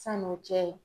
San'o cɛ